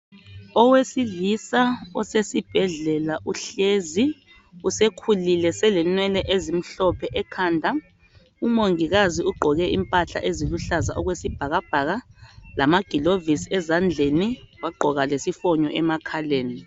Owesilisa osesibhedlela uhlezi usekhulile selenwele ezimhlophe ekhanda umongikazi ugqoke imphahla eziluhlaza okwesibhakabhaka lamagilovisi ezandleni wagqoka lesifoni emakhaleni